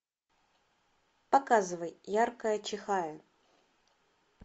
показывай яркая чихая